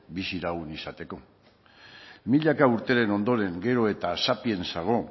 bizilagun izateko milaka urteren ondoren gero eta sapiensago